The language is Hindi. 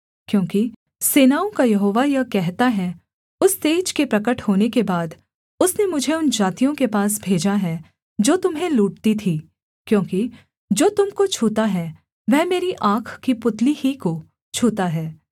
क्योंकि सेनाओं का यहोवा यह कहता है उस तेज के प्रगट होने के बाद उसने मुझे उन जातियों के पास भेजा है जो तुम्हें लूटती थीं क्योंकि जो तुम को छूता है वह मेरी आँख की पुतली ही को छूता है